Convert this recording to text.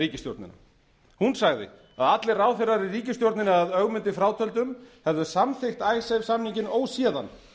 ríkisstjórnina hún sagði að allir ráðherrar í ríkisstjórninni að ögmundi frátöldum hefðu samþykkt icesave samninginn óséðan